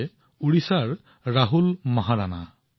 একেদৰে উৰিষ্যাত পুৰীৰ আন এজন স্বচ্ছগ্ৰহী আছে